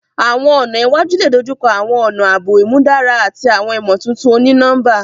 Awọn ọna iwaju le dojukọ awọn ọna aabo imudara ati awọn imotuntun oni-nọmba.